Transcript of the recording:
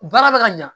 Baara bɛ ka ɲa